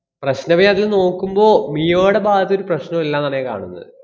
പ്രശ്നവേ അതില്‍ നോക്കുമ്പോ, മിയോടെ ഭാഗത്തൊരു പ്രശ്‌നോമില്ലെന്നാണ് ഞാൻ കാണുന്നത്.